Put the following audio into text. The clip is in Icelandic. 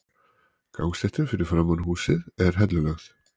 Gangstéttin fyrir framan húsið er hellulögð.